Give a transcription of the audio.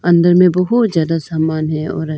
अंदर में बहुत ज्यादा समान है और --